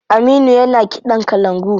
Aminu yana kiɗan kalangu.